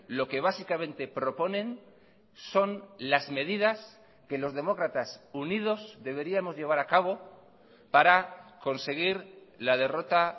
lo que básicamente proponen son las medidas que los demócratas unidos deberíamos llevar a cabo para conseguir la derrota